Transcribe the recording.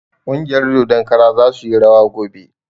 Ƙungiyar dodon kara za suyi rawa gobe